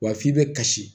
Wa f'i bɛ kasi